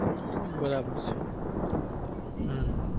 બરાબર હમ